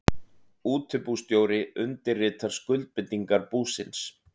Útibússtjóri undirritar skuldbindingar búsins.